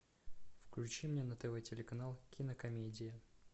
включи мне на тв телеканал кинокомедии